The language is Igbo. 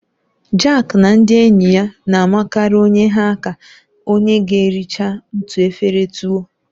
Jake na ndị enyi ya na-amakarị onye ha aka onye ga erichaa otu efere tuwo.